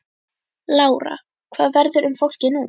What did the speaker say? Lára: Hvað verður um fólkið núna?